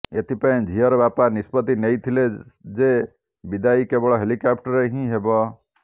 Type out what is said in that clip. ଏଥିପାଇଁ ଝିଅର ବାପା ନିଷ୍ପତ୍ତି ନେଇଥିଲେ ଯେ ବିଦାଇ କେବଳ ହେଲିକେପ୍ଟରରେ ହିଁ ହେବ